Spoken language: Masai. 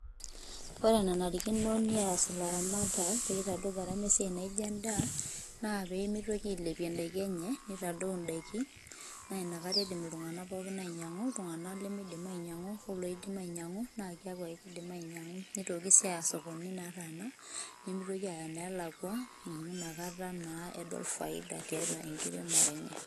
Ore enanarikino neas ilaramatak pee itadou garama e siai naijo ene ndaa naa pee mitoki ailepie indaiki enye, nitadou indaiki naa inakata idim iltung'anak pookin ainyang'u, iltung'anak lemidim ainyang'u oloidim ainyang'u naake eeku ake idim ainyang'u. Nitoki sii aaya sokonini nataana nimitoki aaya neelakua amu inakata naa edol faida tiatua enkiremore enye.